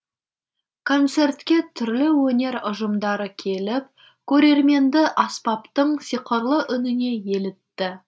концертке түрлі өнер ұжымдары келіп көрерменді аспаптың сиқырлы үніне елітті